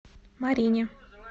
марине